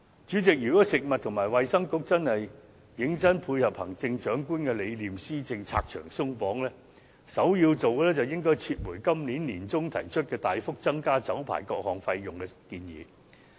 主席，如果食物及衞生局認真配合行政長官的施政理念，為百業拆牆鬆綁，首先要做的是撤回今年年中提出大幅增加酒牌各項費用的建議。